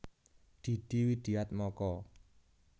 Didi Widiatmoko